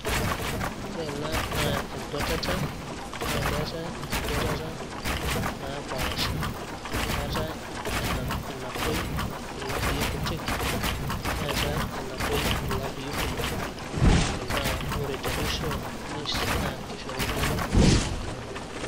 Ore ena naa enkuatata naa keetai enkauatata naapaasha, keeta enapuoi ilapii kuti neetai enapuoi ilapii kumok. Naa ore temusho naa keishori iltung'anak isawadini.